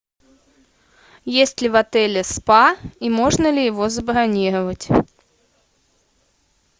есть ли в отеле спа и можно ли его забронировать